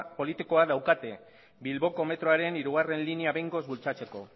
politikoa daukate bilboko metroaren hirugarrena linea behingoz bultzatzeko